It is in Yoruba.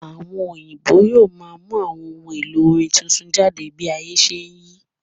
Àwọn òyìnbó yóò máa mú àwọn ohun èlò orin tuntun jáde bí ayé ṣe n yí